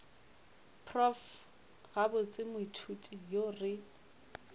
prof gabotse moithuti yo re